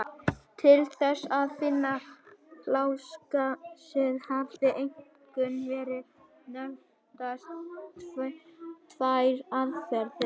Til þess að finna lásagrasið hafa einkum verið nefndar tvær aðferðir.